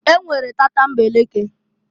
E nwere tatambeleke.